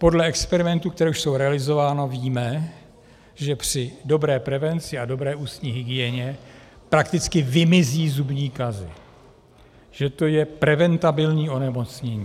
Podle experimentů, které už jsou realizovány, víme, že při dobré prevenci a dobré ústní hygieně prakticky vymizí zubní kazy, že to je preventabilní onemocnění.